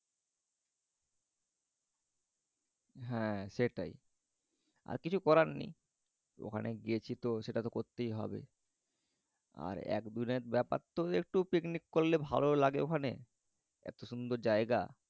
হ্যাঁ সেটাই। আর কিছু করার নেই। ওখানে গিয়েছি তো সেটা তো করতেই হবে। আর এত দুরের ব্যাপার তো তো একটু পিকনিক করলে ভালও লাগে ওখানে এত সুন্দর জায়গা।